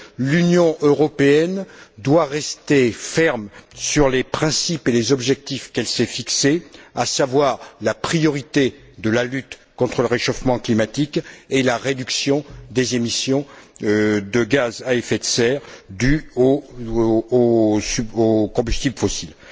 L'Union européenne doit rester ferme sur les principes et les objectifs qu'elle s'est fixés, à savoir la priorité de la lutte contre le réchauffement climatique et la réduction des émissions de gaz à effet de serre dues aux combustibles fossiles.